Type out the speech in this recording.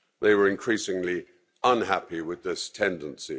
They were increasingly unhappy with this tendency.